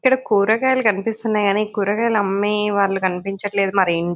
ఇక్కడ కూరగాయలు కనిపిస్తున్నాయి గానీ కూరగాయలు అమ్మే వాళ్ళు కనిపించట్లేదు. మరి ఏం--